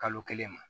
Kalo kelen ma